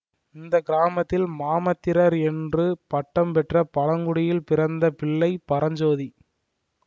இந்த கிராமத்தில் மாமாத்திரர் என்று பட்டம் பெற்ற பழங்குடியில் பிறந்த பிள்ளை பரஞ்சோதி